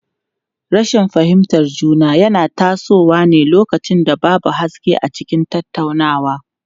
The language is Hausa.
Rashin fahimtar juna yana tasowa ne lokacin da babu haske a cikin tattaunawa.